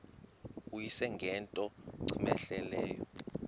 uyise ngento cmehleleyo